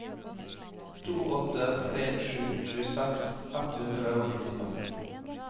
to åtte tre sju tjueseks ett hundre og nittifem